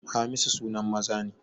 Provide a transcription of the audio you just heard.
Hamisu sunan maza ne